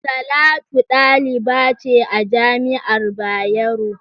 Talatu daliba ce a jami'ar Bayero.